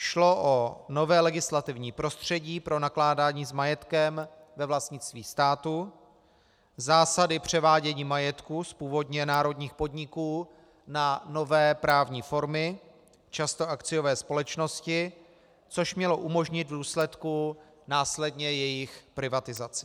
Šlo o nové legislativní prostředí pro nakládání s majetkem ve vlastnictví státu, zásady převádění majetku z původně národních podniků na nové právní formy, často akciové společnosti, což mělo umožnit v důsledku následně jejich privatizaci.